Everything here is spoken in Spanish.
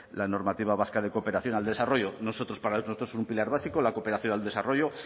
la normativa vasca de cooperación al desarrollo nosotros para nosotros es un pilar básico la cooperación al desarrollo